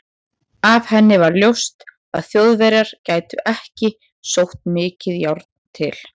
Af henni var ljóst, að Þjóðverjar gætu ekki sótt mikið járn til